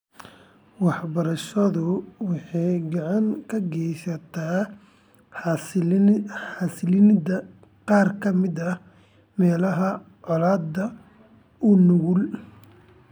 Waxbarashadu waxay gacan ka geysatay xasilinta qaar ka mid ah meelaha colaadaha u nugul .